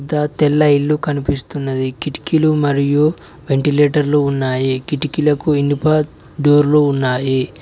త తెల్ల ఇల్లు కనిపిస్తున్నది కిటికీలు మరియు వెంటిలేటర్లు ఉన్నాయి కిటికీలకు ఇనుప డోర్లు ఉన్నాయి.